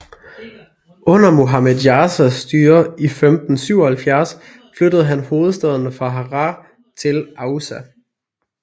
Under Muhammed Jasas styre i 1577 flyttede han hovedstaden fra Harar til Aussa